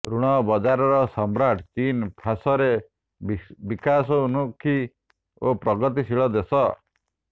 ଋଣ ବଜାରର ସମ୍ରାଟ ଚୀନ୍ ଫାଶରେ ବିଶାଉନ୍ମୁଖୀ ଓ ପ୍ରଗତିଶୀଳ ଦେଶ